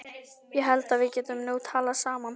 Ég held að við getum nú talað saman!